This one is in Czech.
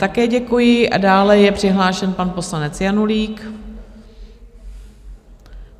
Také děkuji a dále je přihlášen pan poslanec Janulík.